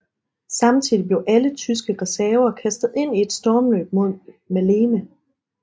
Samtidig blev alle tyske reserver kastet ind i et stormløb mod Maleme